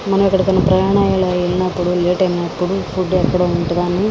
మనం ఎక్కడికైనా ప్రయాణం అయి వెళ్ళినపుడు లేట్ అయినపుడు ఏే ఫుడ్ అక్కడ ఉంటదాని.